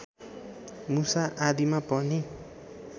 मुसा आदिमा पनि